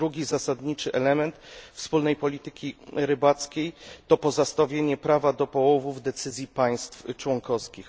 Drugi zasadniczy element wspólnej polityki rybackiej to pozostawienie prawa do połowów decyzji państw członkowskich.